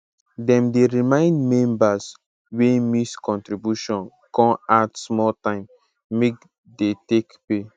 dem dey remind members wey miss contribution con add small time make dey take pay